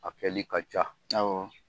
A kɛlɛ ka ca awƆ .